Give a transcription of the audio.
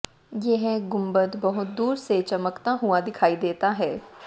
यह गुंबद बहुत दूर से चमकता हुआ दिखाई देता है